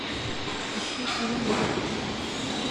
ищи фильм богатырша